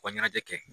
U ka ɲɛnajɛ kɛ